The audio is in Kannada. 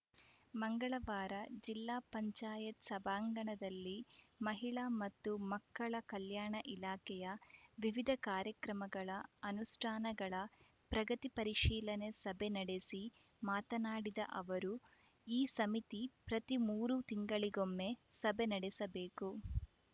ಮಂಗಳವಾರ ಜಿಲ್ಲಾ ಪಂಚಾಯತ್ ಸಭಾಂಗಣದಲ್ಲಿ ಮಹಿಳಾ ಮತ್ತು ಮಕ್ಕಳ ಕಲ್ಯಾಣ ಇಲಾಖೆಯ ವಿವಿಧ ಕಾರ್ಯಕ್ರಮಗಳ ಅನುಷ್ಠಾನಗಳ ಪ್ರಗತಿ ಪರಿಶೀಲನೆ ಸಭೆ ನಡೆಸಿ ಮಾತನಾಡಿದ ಅವರು ಈ ಸಮಿತಿ ಪ್ರತಿ ಮೂರು ತಿಂಗಳಿಗೊಮ್ಮೆ ಸಭೆ ನಡೆಸಬೇಕು